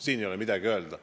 Siin ei ole midagi öelda.